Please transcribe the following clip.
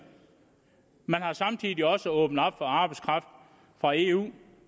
man har samtidig også åbnet op for arbejdskraft fra eu